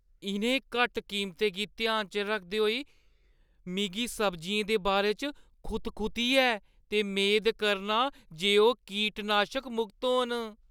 इʼनें घट्ट कीमतें गी ध्याना च रखदे होई, मिगी सब्जियें दे बारे च खुतखुती ऐ ते मेद करनां जे ओह् कीटनाशक-मुक्त होन।